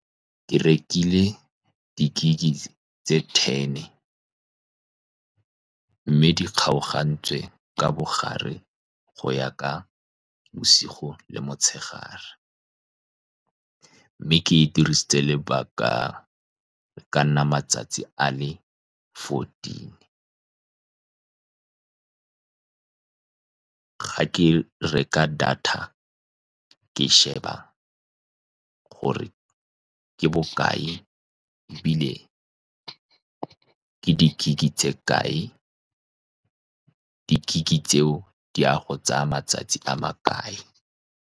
Ke rekile di-gig tse ten, mme di kgaogantswe ka mogare go ya ka bosigo le motshegare, mme ke e dirisitse lobaka. E ka nna malatsi a le fourteen. Fa ke reka data, ke sheba gore ke bokae, ebile ke di-gig tse kae. Di-gig tseo di a go tsaya matsatsi a makae.